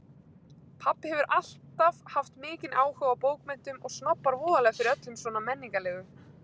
Pabbi hefur alltaf haft mikinn áhuga á bókmenntum og snobbar voðalega fyrir öllu svona menningarlegu.